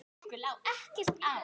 Okkur lá ekkert á.